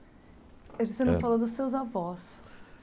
Acho que você não falou dos seus avós.